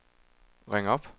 ring op